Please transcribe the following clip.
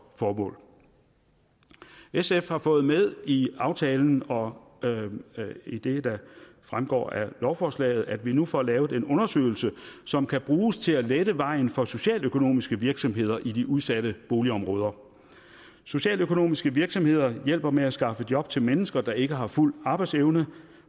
formål sf har fået med i aftalen og i det der fremgår af lovforslaget at vi nu får lavet en undersøgelse som kan bruges til at lette vejen for socialøkonomiske virksomheder i de udsatte boligområder socialøkonomiske virksomheder hjælper med at skaffe job til mennesker der ikke har fuld arbejdsevne